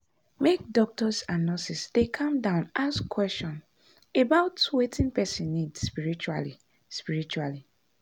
make doctors and nurses dey calm down ask question about wetin person need spritually. spritually.